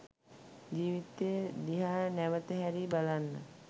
ජීවිතය දිහා නැවත හැරී බලන්න